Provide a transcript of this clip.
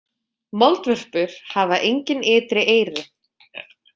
Moldvörpur hafa engin ytri eyru.